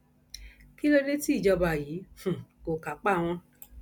kí ló dé tí ìjọba yìí um kò kápá wọn